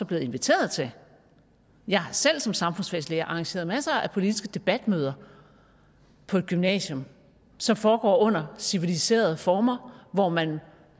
blevet inviteret til jeg har selv som samfundsfagslærer arrangeret masser af politiske debatmøder på et gymnasium som foregår under civiliserede former hvor man